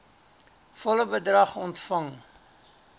volle bedrag ontvang